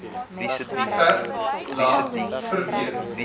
verf laat verweer